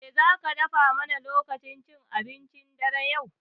Me zaki dafa mana lokacin cin abincin dare yau?